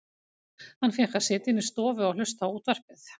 Hann fékk að sitja inni í stofu og hlusta á útvarpið.